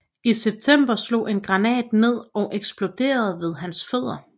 I september slog en granat ned og eksploderede ved hans fødder